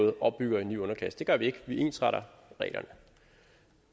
måde opbygger en ny underklasse det gør vi ikke vi ensretter reglerne